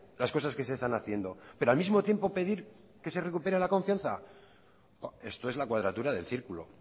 las cosas que se están haciendo pero al mismo tiempo pedir que se recupere la confianza esto es la cuadratura del círculo